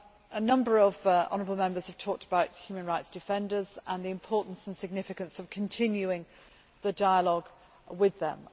A number of honourable Members have talked about human rights defenders and the importance and significance of continuing the dialogue with them.